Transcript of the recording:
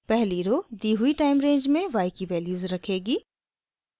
पहली रो दी हुई टाइम रेंज में y की वैल्यूज़ रखेगी